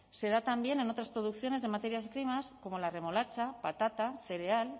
se da también en otras producciones de materias primas como la remolacha patata cereal